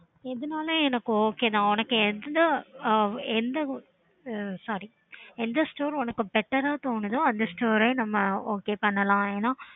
okay